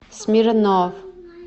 смирнов